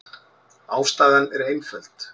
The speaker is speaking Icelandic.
Ástæðan er einföld.